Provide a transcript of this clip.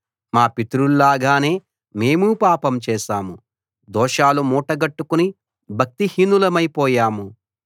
మా పితరుల్లాగానే మేము పాపం చేశాము దోషాలు మూటగట్టుకుని భక్తిహీనులమైపోయాము